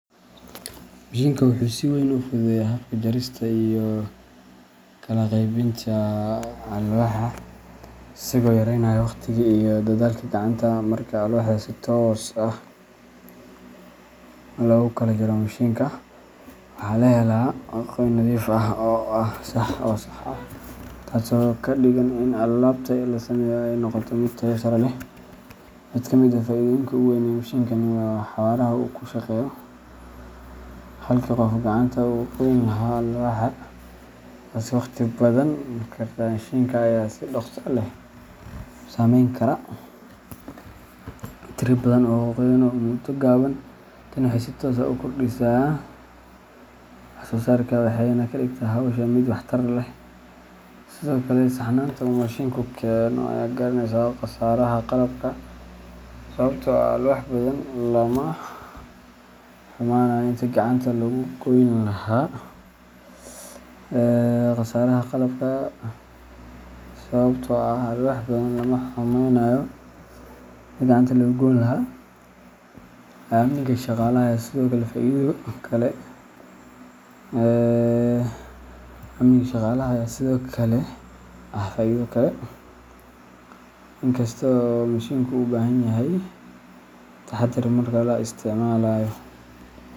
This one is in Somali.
Mishiinkan wuxuu si weyn u fududeeyaa habka jarista iyo kala qaybinta alwaaxda, isagoo yareynaya waqtiga iyo dadaalka gacanta. Marka alwaaxda si toos ah loogu kala jaro mishiinka, waxaa la helaa goyn nadiif ah oo sax ah, taasoo ka dhigan in alaabta la sameynayo ay noqoto mid tayo sare leh. Mid ka mid ah faa’iidooyinka ugu weyn ee mishiinkan waa xawaaraha uu ku shaqeeyo. Halkii qofku gacanta uga goyn lahaa alwaaxda, taasoo waqti badan qaadan karta, mishiinka ayaa si dhaqso leh u sameyn kara tiro badan oo goyn ah muddo gaaban. Tani waxay si toos ah u kordhisaa wax-soo-saarka, waxayna ka dhigtaa hawsha mid waxtar leh. Sidoo kale, saxnaanta uu mishiinku keeno ayaa yaraynaysa khasaaraha qalabka, sababtoo ah alwaax badan lama xumaanayo intii gacanta lagu goyn lahaa. Amniga shaqaalaha ayaa sidoo kale ah faa’iido kale. In kasta oo mishiinku u baahan yahay taxaddar marka la isticmaalayo.